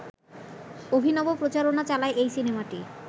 অভিনব প্রচারণা চালায় এই সিনেমাটি